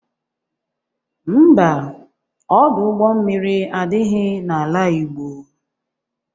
Ḿbà, Ọdụ ụgbọ mmiri adịghị n'ala Igbo